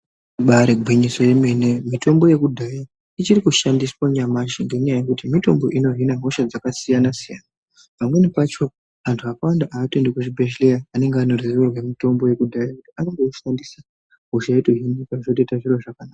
Ibaari gwinyiso yemene mitombo yekudhaya ichiri kushandiswa nyamashi, ngenyaya yekuti mitombo inohina hosha dzakasiyana-siyana. Pamwe pacho antu akawanda haatoendi kuzvibhehleya, anenge ane ruzivo rwemitombo yekudhaya, anotoishandisa hosha yotohinika zvotoita zviro zvakanaka.